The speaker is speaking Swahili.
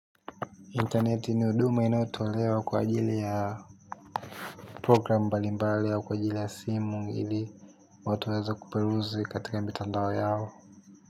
Intaneti ni huduma inayo tolewa kwa ajili ya program mbalimbali au kwa ajili ya simu ili watu waweze kuperuzi katika mitandao yao.